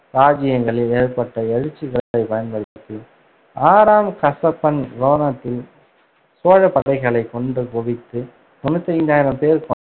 இராஜ்ஜியங்களில் ஏற்பட்ட எழுச்சிகளைப் பயன்படுத்தி, ஆறாம் கசப்பன் ரோணத்தில் சோழப் படைகளைக் கொன்று குவித்து தொண்ணூத்தி ஐந்தாயிரம் பேர் கொண்ட